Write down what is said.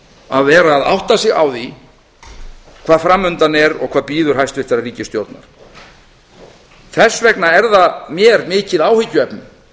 að vera að átta sig á því hvað fram undan er og hvað bíður hæstvirtrar ríkisstjórnar þess vegna er það mér mikið áhyggjuefni